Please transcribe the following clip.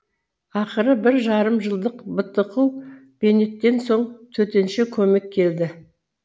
ақыры бір жарым жылдық бытықу бейнеттен соң төтенше көмек келді